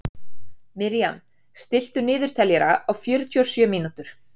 Miriam, stilltu niðurteljara á fjörutíu og sjö mínútur.